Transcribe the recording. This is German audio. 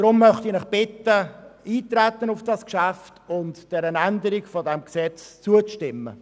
Deshalb bitte ich Sie, auf das Geschäft einzutreten und einer Änderung des Gesetzes zuzustimmen.